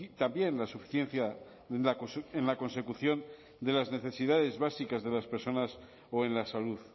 también la suficiencia en la consecución de las necesidades básicas de las personas o en la salud